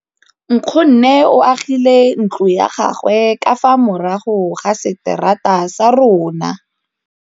Nkgonne o agile ntlo ya gagwe ka fa morago ga seterata sa rona.